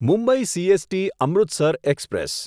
Mumbai CST Amritsar express